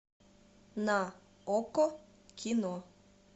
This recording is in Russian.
на окко кино